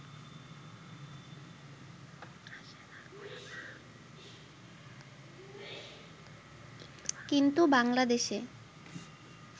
কিন্তু বাংলাদেশে